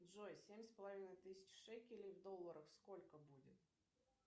джой семь с половиной тысяч шекелей в долларах сколько будет